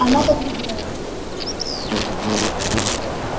она побледнела в свою очередь